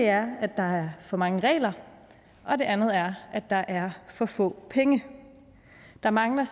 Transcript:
er at der er for mange regler og det andet er at der er for få penge der mangler